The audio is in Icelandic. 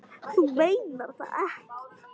Þú meinar það ekki.